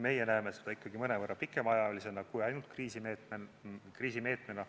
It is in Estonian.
Meie näeme seda ikkagi mõnevõrra pikemaajalisemana kui ainult kriisimeetmena.